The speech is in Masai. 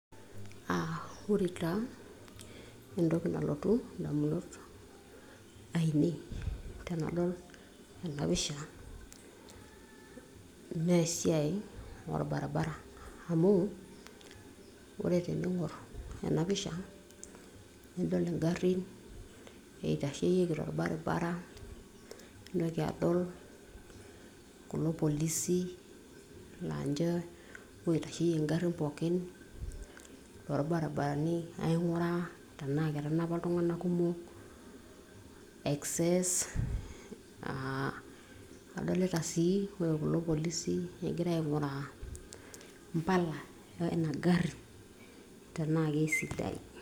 uh, ore taa entoki nalotu indamunot ainei tenadol ena pisha, naa esiai orbaribara amu ore tening'orr ena pisha naidol ing'arrin eitasheyieki torbaribara nintoki adol kulo polisi laa ninche oitasheyie ing'arrin pookin torbaribarani aing'uraa tenaa ketanapa iltung'anak kumok [excess uh, adolita sii ore kulo polisi egira aing'uraa impala eina garri tenaa keisidain.